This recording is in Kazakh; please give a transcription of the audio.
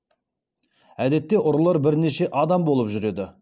әдетте ұрылар бірнеше адам болып жүреді